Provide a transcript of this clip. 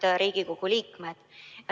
Head Riigikogu liikmed!